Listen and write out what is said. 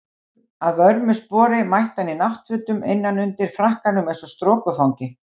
Að vörmu spori mætti hann í náttfötum innan undir frakkanum eins og strokufangi.